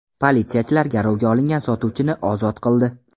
Politsiyachilar garovga olingan sotuvchini ozod qildi.